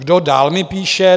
Kdo dál mi píše?